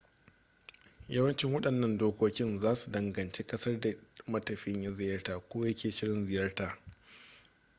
yawanci wadannan dokokin zasu danganci kasar da matafiyin ya ziyarta ko ya ke shirin ziyarta